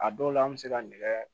A dɔw la an bɛ se ka nɛgɛ